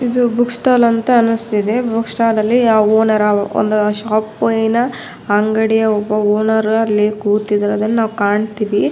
ಇದು ಬುಕ್ಸ್ಟಾಲ್ ಅಂತ ಅನ್ನಿಸ್ತಿದೆ ಬುಕ್ಸ್ಟಾಲ್ ಅಲ್ಲಿ ಅ ಓನರ್ ಒಂದು ಶೋಪ್ನ ಅಂಗಡಿಯ ಒಬ್ಬ ಓನರ್ ಅಲ್ಲಿ ಕೂತಿರೋದನ್ನ ನಾವು ಕಾಣುತ್ತಿವಿ.